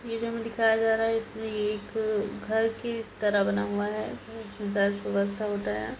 ये जो हमें दिखाया जा रहा है इसमें यह एक घर की तरह बना हुआ है शायद होता है।